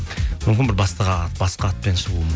мүмкін бір басқа атпен шығуы